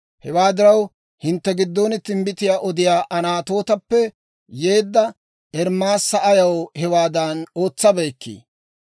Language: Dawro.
Hewaa diraw, hintte giddon timbbitiyaa odiyaa Anatootappe yeedda Ermaasa ayaw hewaadan ootsabeykkii?»